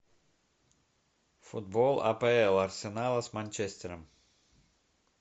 футбол апл арсенала с манчестером